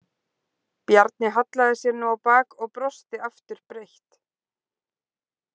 Bjarni hallaði sér nú á bak og brosti aftur breitt.